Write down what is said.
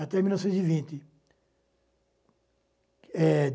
até mil novecentos e vinte. É